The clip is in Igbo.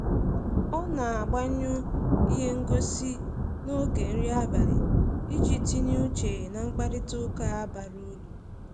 O na-agbanyụ ihe ngosị n'oge nri abalị iji tinye uche na mkparịtaụka bara uru